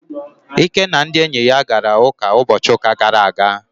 Ike na ndị enyi ya gara ụka ụbọchị ụka gara aga.